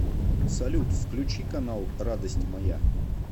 салют включи канал радость моя